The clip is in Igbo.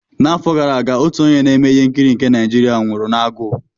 N'afọ gara aga, otu onye na-eme ihe nkiri nke Naijiria nwụrụ n'agụụ.